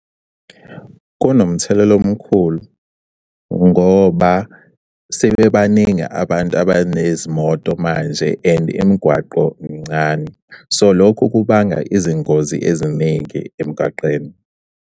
Kunomthelela omkhulu ngoba sebebaningi abantu abanezimoto manje and imigwaqo mncane. So, lokho kubanga izingozi eziningi emgwaqeni.